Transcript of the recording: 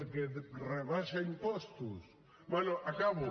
què és perquè rebaixa impostos bé acabo